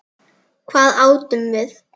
Hvað átum við?